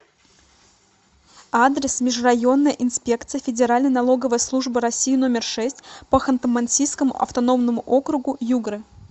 адрес межрайонная инспекция федеральной налоговой службы россии номер шесть по ханты мансийскому автономному округу югре